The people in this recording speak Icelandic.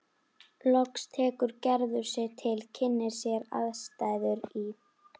Loks tekur Gerður sig til, kynnir sér aðstæður í